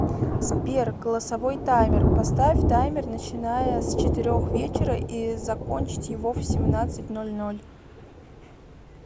сбер голосовой таймер поставь таймер начиная с четырех вечера и закончить его в семнадцать ноль ноль